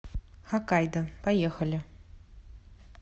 хоккайдо поехали